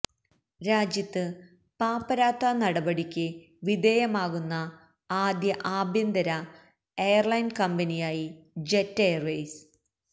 രാജ്യത്ത് പാപ്പരാത്ത നടപടിക്ക് വിധേയമാകുന്ന ആദ്യ ആഭ്യന്തര എയര്ലൈന് കമ്പനിയായി ജെറ്റ് എയർവെയ്സ്